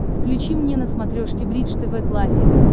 включи мне на смотрешке бридж тв классик